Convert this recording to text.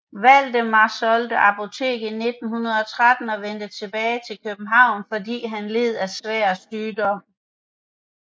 Valdemar solgte apoteket i 1913 og vendte tilbage til København fordi han led af svær sygdom